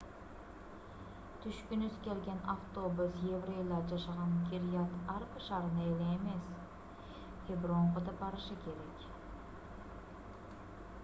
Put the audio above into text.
түшкүңүз келген автобус еврейлар жашаган кирьят-арба шаарына эле эмес хебронго да барышы керек